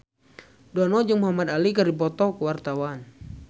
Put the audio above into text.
Dono jeung Muhamad Ali keur dipoto ku wartawan